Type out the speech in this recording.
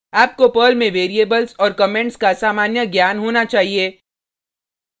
आपको पर्ल में वेरिएबल्स और कमेंट्स का सामान्य ज्ञान होना चाहिए